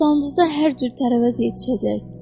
Bostanımızda hər cür tərəvəz yetişəcək.